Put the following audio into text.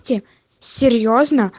серьёзно